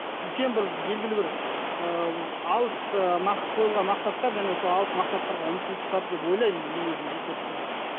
үлкен бір белгілі бір ыыы алыс ыыы нақ қойылған мақсаттар және сол алыс мақсаттарға ұмтылыстар деп ойлаймын мен өзімнің жеке пікірім